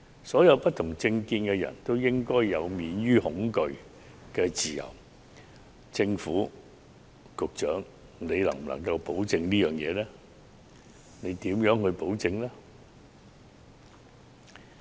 所有持不同政見人士均應享有免於恐懼的自由，政府和局長能否作出保證及如何保證呢？